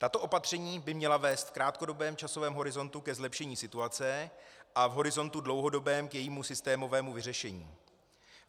Tato opatření by měla vést v krátkodobém časovém horizontu ke zlepšení situace a v horizontu dlouhodobém k jejímu systémovému vyřešení.